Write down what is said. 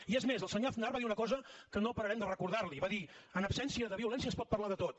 i és més el senyor aznar va dir una cosa que no pararem de recordar la hi va dir en absència de violència es pot parlar de tot